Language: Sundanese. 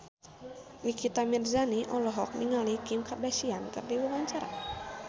Nikita Mirzani olohok ningali Kim Kardashian keur diwawancara